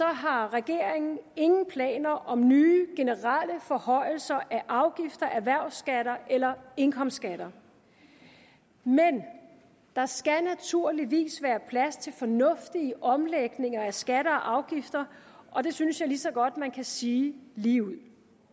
har regeringen ingen planer om nye generelle forhøjelser af afgifter erhvervsskatter eller indkomstskatter men der skal naturligvis være plads til fornuftige omlægninger af skatter og afgifter og det synes jeg lige så godt man kan sige ligeud